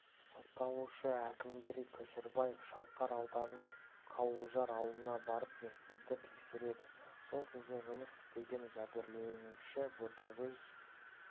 сотталушы әкімгерей көшербаев шалқар ауданының қауылжар ауылына барып мектепті тексереді сол кезде жұмыс істеген жәбірленуші ботагөз